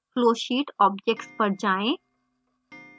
flowsheet objects पर जाएँ